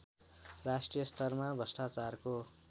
राष्ट्रिय स्तरमा भ्रष्टाचारको